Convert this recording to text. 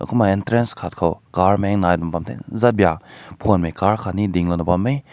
kuma entrance kat koa car meng nai na bam zatbeik phun mei car kat ding lao bam meh.